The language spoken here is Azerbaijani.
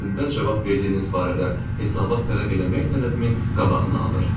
mənim əvəzində cavab verdiyiniz barədə hesabat tələb eləmək tələbimin qabağını alır.